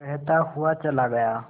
कहता हुआ चला गया